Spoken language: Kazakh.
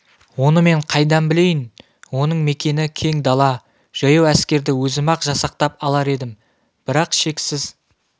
оны мен қайдан білейін оның мекені кең дала жаяу әскерді өзім-ақ жасақтап алар едім бірақ шексіз